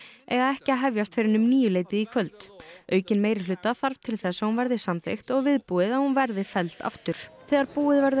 eiga ekki að hefjast fyrr en um níuleytið í kvöld aukinn meirihluta þarf til þess að hún verði samþykkt og viðbúið að hún verði felld aftur þegar búið verður